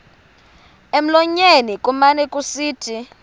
emlonyeni kumane kusithi